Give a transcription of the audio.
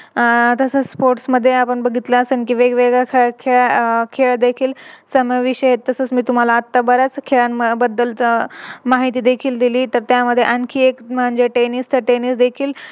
आह तसच Sports मध्ये आपण बघितल्यास वेगवेगळ्या खेळ देखील समावेशित आहे. तस मी तुम्हाला बऱ्याच खेळाबद्दल माहिती देखील दिली तर त्यामध्ये आणखी एक म्हणजे Teniss तर Teniss देखील